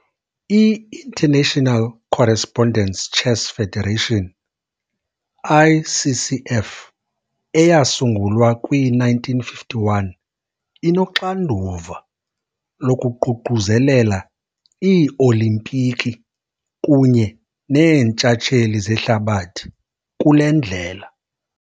I-International Correspondence Chess Federation, ICCF, eyasungulwa kwii-1951, inoxanduva lokuququzelela ii-Olimpiki kunye neeNtshatsheli zehlabathi kule ndlela.